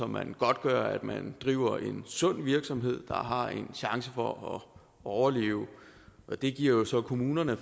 man godtgør at man driver en sund virksomhed der har en chance for at overleve det giver jo så kommunerne